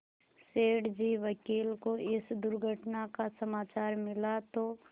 सेठ जी वकील को इस दुर्घटना का समाचार मिला तो